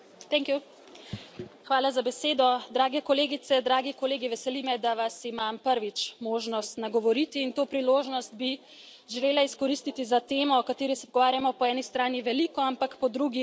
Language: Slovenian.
Spoštovana predsedujoča, drage kolegice, dragi kolegi, veseli me, da vas imam prvič možnost nagovoriti, in to priložnost bi želela izkoristiti za temo, o kateri se pogovarjamo po eni strani veliko, ampak po drugi očitno premalo.